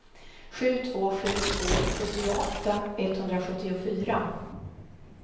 sju två sju två sjuttioåtta etthundrasjuttiofyra